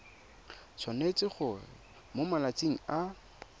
tshwanetse gore mo malatsing a